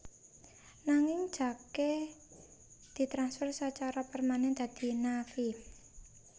Nanging Jake ditransfer sacara permanen dadi Na vi